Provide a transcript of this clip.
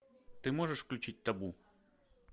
ты можешь включить табу